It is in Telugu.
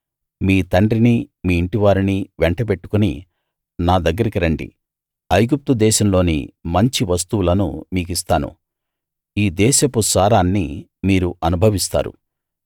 మీ తండ్రినీ మీ ఇంటివారిని వెంట బెట్టుకుని నా దగ్గరికి రండి ఐగుప్తు దేశంలోని మంచి వస్తువులను మీకిస్తాను ఈ దేశపు సారాన్ని మీరు అనుభవిస్తారు